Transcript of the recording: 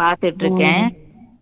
பார்த்துட்டு இருக்கேன்